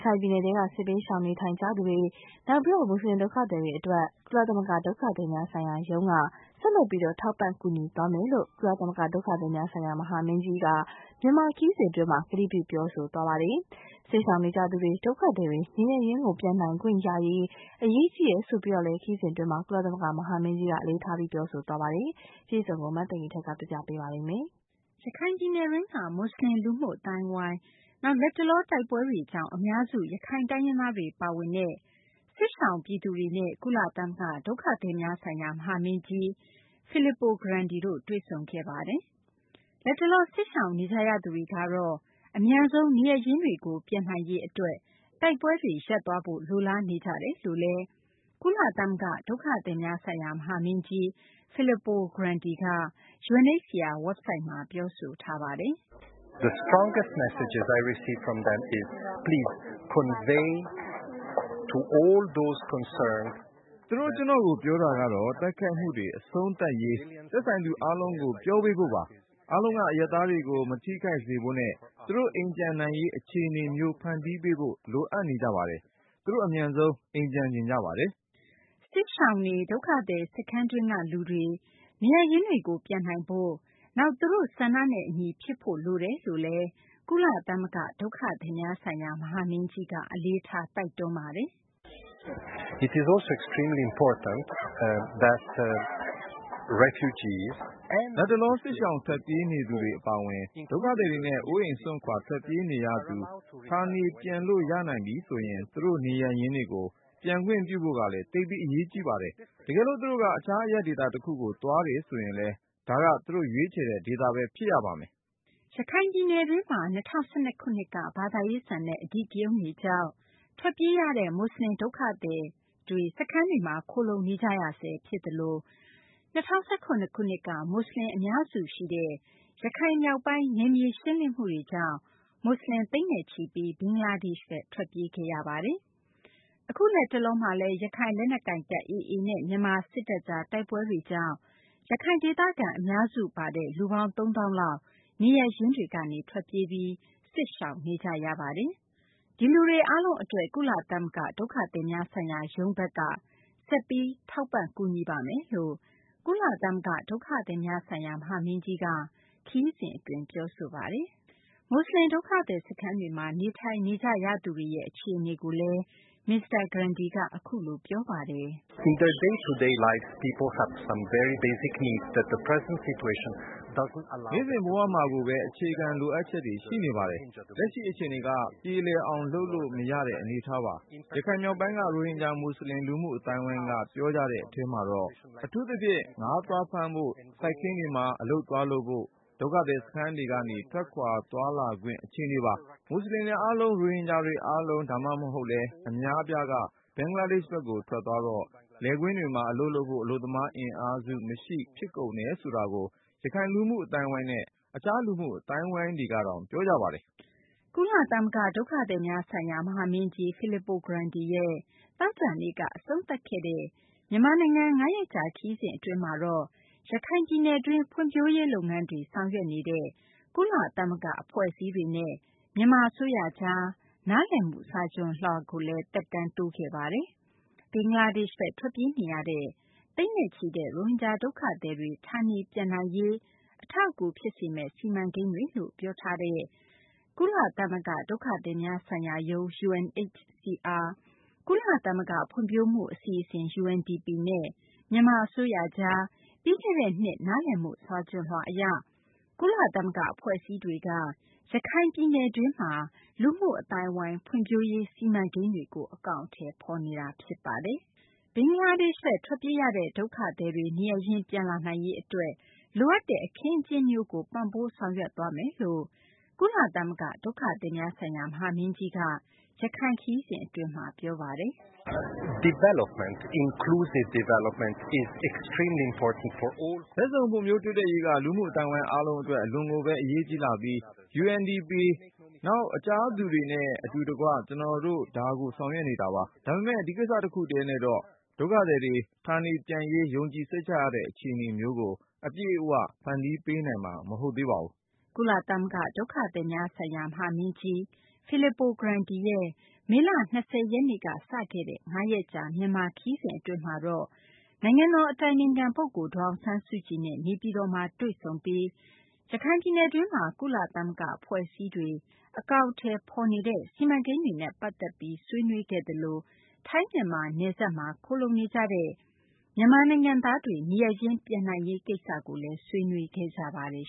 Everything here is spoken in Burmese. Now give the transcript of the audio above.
ခိုင်ပြည်နယ်ထဲက စစ်ဘေးရှောင်နေကြရသူတွေ၊ နောက် မူဆလင် ဒုက္ခသည်တွေအတွက် ကုလသမဂ္ဂ ဒုက္ခသည်များဆိုင်ရာရုံးက ဆက်လက် ထောက်ပံ့ ကူညီသွားမယ်လို့ ကုလသမဂ္ဂ ဒုက္ခသည်များဆိုင်ရာ မဟာမင်းကြီးက မြန်မာခရီးစဉ် အတွင်းမှာ ကတိပြု ပြောဆိုခဲ့ပါတယ်။ စစ်ရှောင်နေကြရသူတွေ၊ ဒုက္ခသည်တွေ နေရပ်ရင်းတွေကို ပြန်နိုင်ခွင့်ရရေး အရေးကြီးတယ်လို့လည်း ခရီးစဉ်အတွင်းမှာ ကုလသမဂ္ဂ မဟာမင်းကြီးက အလေးထား ပြောဆိုပါတယ်။ မသိင်္ဂီထိုက် စုစည်းတင်ပြထားပါတယ်။ ရခိုင်ပြည်နယ်တွင်းက မူဆလင် လူမှုအသိုင်းအဝိုင်း၊ နောက် လတ်တလော တိုက်ပွဲတွေကြောင့် အများစု ရခိုင်တိုင်းရင်းသားတွေ ပါဝင်တဲ့ စစ်ရှောင်ပြည်သူတွေနဲ့ ကုလသမဂ္ဂ ဒုက္ခသည်များဆိုင်ရာ မဟာမင်းကြီး Filippo Grandi တွေ့ဆုံခဲ့ပါတယ်။ လတ်တလော စစ်ရှောင်နေကြရသူတွေကတော့ အမြန်ဆုံး နေရပ်ရင်းတွေကို ပြန်နိုင်ရေး အတွက် တိုက်ပွဲတွေ ရပ်သွားဖို့ လိုလားနေကြတယ်လို့လည်း ကုလသမဂ္ဂ ဒုက္ခသည်များဆိုင်ရာ မဟာမင်းကြီး Filippo Grandi က UNHCR WEBSITE မှာပြောဆိုထားပါတယ်။ “သူတို့ ကျနော့်ကို ပြောတာကတော့ တိုက်ခိုက်မှုတွေ အဆုံးသတ်ရေး သက်ဆိုင်သူ အားလုံးကို ပြောပေးဖို့ပါ။ အားလုံးက အရပ်သားတွေကို မထိခိုက်စေဖို့နဲ့ သူတို့ အိမ်ပြန်နိုင်ရေး အခြေအနေမျိုး ဖန်တီးပေးဖို့ လိုအပ်နေကြပါတယ်။ သူတို့ အမြန်ဆုံး အိမ်ပြန်ချင်ကြပါတယ်။” စစ်ရှောင်တွေ၊ ဒုက္ခသည် စခန်းတွင်းက လူတွေ နေရပ်ရင်းတွေကို ပြန်နိုင်ဖို့၊ နောက် သူတို့ ဆန္ဒနဲ့ အညီ ဖြစ်ဖို့ လိုတယ်လို့လည်း ကုလသမဂ္ဂ ဒုက္ခသည်များဆိုင်ရာ မဟာမင်းကြီးက အလေးထား တိုက်တွန်းပါတယ်။ “လတ်တလော စစ်ရှောင် ထွက်ပြေးနေရသူတွေ အပါအဝင် ဒုက္ခသည်တွေနဲ့ အိုးအိမ်စွန့်ခွာထွက်ပြေးနေရသူတွေ ဌာနေပြန်လို့ရနိုင်ပြီဆိုရင် သူတို့ နေရပ်ရင်းတွေကို ပြန်ခွင့်ပြုဖို့ကလည်း သိပ်ပြီး အရေးကြီးပါတယ်။ တကယ်လို့ သူတို့က တခြားအရပ်ဒေသ တခုကို သွားတယ်ဆိုရင်လည်း ဒါက သူတို့ ရွေးချယ်တဲ့ ဒေသပဲ ဖြစ်ရပါမယ်။ ” ရခိုင်ပြည်နယ်တွင်းမှာ ၂၀၁၂ ခုနှစ်က ဘာသာရေးဆန်တဲ့ အဓိကရုဏ်းတွေကြောင့် ထွက်ပြေးကြရတဲ့ မူဆလင် ဒုက္ခသည် စခန်းတွေမှာ ခိုလှုံနေကြရဆဲ ဖြစ်သလို ၂၀၁၇ ခုနှစ်က မူဆလင်တွေ အများစုရှိတဲ့ ရခိုင်မြောက်ပိုင်း နယ်မြေရှင်းလင်းမှုတွေကြောင့် မူဆလင် သိန်းနဲ့ချီပြီး ဘင်္ဂလားဒေ့ရှ်ဘက် ထွက်ပြေးခဲ့ရတာပါ။ အခု လက်တလောမှာလည်း ရခိုင်လက်နက်ကိုင်တပ် AA နဲ့ မြန်မာ စစ်တပ်ကြား တိုက်ပွဲတွေကြောင့် ရခိုင်ဒေသခံ အများစု ပါတဲ့ လူပေါင်း ၃ သောင်းလောက် နေရပ်ရင်းတွေကနေ ထွက်ပြေးပြီး စစ်ဘေးရှောင်နေကြ ရတာပါ။ ဒီလူတွေ အားလုံး အတွက် ကုလသမဂ္ဂ ဒုက္ခသည်များဆိုင်ရာရုံးဘက်က ဆက်ပြီး ထောက်ပံ့ကူညီပါမယ်လို့ ကုလသမဂ္ဂ ဒုက္ခသည်များဆိုင်ရာ မဟာမင်းကြီးက ခရီးစဉ် အတွင်း ပြောဆိုပါတယ်။ မူဆလင် ဒုက္ခသည် စခန်းတွေမှာ နေထိုင်နေကြရသူတွေ အခြေအနေကိုလည်း မစ္စတာ Grandi က အခုလို ပြောပါတယ်။ “နေ့စဉ်ဘဝမှာကိုပဲ အခြေခံလိုအပ်ချက်တွေ ရှိနေကြပါတယ်။ လက်ရှိ အခြေအနေက ပြေလည်အောင်လုပ်လို့ မရတဲ့ အနေအထားပါ။ ရခိုင်မြောက်ပိုင်းက ရိုဟင်ဂျာ မူဆလင် လူမှုအသိုင်းအဝိုင်းက ပြောကြတဲ့ အထဲမှာတော့ အထူးသဖြင့် ငါးသွားဖမ်းဖို့၊ စိုက်ခင်းတွေမှာ အလုပ်သွားလုပ်ဖို့ ဒုက္ခသည် စခန်းထဲကနေ ထွက်ခွာသွာလာခွင့် အခြေအနေပါ။ မူဆလင်တွေ အားလုံး၊ ရိုဟင်ဂျာတွေ အားလုံး ဒါမှမဟုတ်လည်း အများအပြားက ဘင်္ဂလားဒေ့ရှ်ဘက်ကို ထွက်သွားတော့ လယ်ကွင်းတွေမှာ အလုပ်လုပ်ဖို့ အလုပ်သမား အင်အားစုမရှိ ဖြစ်ကုန်တယ်ဆိုတာကို ရခိုင် လူမှုအသိုင်းအဝိုင်းနဲ့ တခြား လူမှုအသိုင်းအဝိုင်းတွေကတောင် ပြောကြပါတယ်။” ကုလသမဂ္ဂ ဒုက္ခသည်များဆိုင်ရာ မဟာမင်းကြီး Filippo Grandi ရဲ့ သောကြာနေ့က အဆုံးသတ်ခဲ့တဲ့ မြန်မာနိုင်ငံ ၅ ရက်ကြာ ခရီးစဉ် အတွင်းမှာတော့ ရခိုင်ပြည်နယ်တွင်း ဖွံ့ဖြိုးရေး လုပ်ငန်းတွေ ဆောင်ရွက်နေတဲ့ ကုလသမဂ္ဂ အဖွဲ့အစည်းတွေနဲ့ မြန်မာ အစိုးရကြား နားလည်မှု စာချွန်လွှာကို သက်တမ်းတိုးခဲ့ပါတယ်။ ဘင်္ဂလားဒေ့ရှ်ဘက် ထွက်ပြေးနေရတဲ့ သိန်းနဲ့ချီတဲ့ ရိုဟင်ဂျာ ဒုက္ခသည်တွေ ဌာနေပြန်နိုင်ရေးကို အထောက်အကူ ဖြစ်စေမယ့် စီမံကိန်းတွေလို့ ပြောဆိုထားတဲ့ ကုလသမဂ္ဂ ဒုက္ခသည်များဆိုင်ရာရုံး UNHCR၊ ကုလသမဂ္ဂ ဖွံ့ဖြိုးမှု အစီအစဉ် UNDP နဲ့ မြန်မာ အစိုးရကြား ပြီးခဲ့တဲ့ နှစ် နားလည်မှု စာချွန်လွှာ အရ ကုလသမဂ္ဂ အဖွဲ့အစည်းတွေက ရခိုင်ပြည်နယ်တွင်းမှာ လူမှုအသိုင်းအဝိုင်း ဖွံ့ဖြိုးရေး စီမံကိန်းတွေကို အကောင်အထည် ဖော်နေတာပါ။ ဘင်္ဂလားဒေ့ရှ်ဘက် ထွက်ပြေးရတဲ့ ဒုက္ခသည်တွေ နေရပ်ရင်း ပြန်လာနိုင်ရေး အတွက် လိုအပ်တဲ့ အခင်းအကျင်းမျိုးကို ပံ့ပိုး ဆောင်ရွက်သွားမယ်လို့လည်း ကုလသမဂ္ဂ ဒုက္ခသည်များဆိုင်ရာ မဟာမင်းကြီးက ရခိုင်ခရီးစဉ် အတွင်းမှာ ပြောဆိုပါတယ်။ “ဘက်စုံ ဖွံ့ဖြိုးတိုးတက်ရေးက လူမှုအသိုင်းအဝိုင်း အားလုံး အတွက် အလွန်ကိုပဲ အရေးကြီးလှပြီး UNDP နောက် တခြားသူတွေနဲ့ အတူတကွ ကျနော်တို့ ဒါကို ဆောင်ရွက်နေတာပါ။ ဒါပေမယ့် ဒီကိစ္စတခုတည်းနဲ့တော့ ဒုက္ခသည်တွေ ဌာနေပြန်ရေး ယုံကြည်စိတ်ချရတဲ့ အခြေအနေမျိုးကို အပြည့်အဝ ဖန်တီးပေးနိုင်မှာ မဟုတ်ပါဘူး။ ” ကုလသမဂ္ဂ ဒုက္ခသည်များဆိုင်ရာ မဟာမင်းကြီး Filippo Grandi ရဲ့ မေလ ၂၀ ရက်နေ့က စတင်ခဲ့တဲ့ ၅ ရက်ကြာ မြန်မာနိုင်ငံခရီးစဉ်အတွင်းမှာတော့ နိုင်ငံတော် အတိုင်ပင်ခံ ပုဂ္ဂိုလ် ဒေါ်အောင်ဆန်းစုကြည်နဲ့ နေပြည်တော်မှာ တွေ့ဆုံပြီး ရခိုင်ပြည်နယ်တွင်းမှာ ကုလသမဂ္ဂ အဖွဲ့အစည်းတွေ အကောင်အထည်ဖော်နေတဲ့ စီမံကိန်းတွေနဲ့ ပတ်သက်ပြီး ဆွေးနွေးခဲ့သလို ထိုင်း-မြန်မာ နယ်စပ်မှာ ခိုလှုံနေကြတဲ့ မြန်မာနိုင်ငံသားတွေ နေရပ်ရင်း ပြန်နိုင်ရေး ကိစ္စလည်း ဆွေးနွေးခဲ့ကြပါတယ်